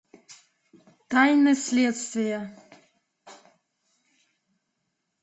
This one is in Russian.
тайны следствия